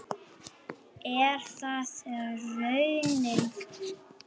Er það raunin?